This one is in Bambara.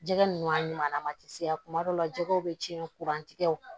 Jɛgɛ ninnu a ɲuman tɛ se kuma dɔw la jɛgɛw bɛ tiɲɛ kuran tigɛ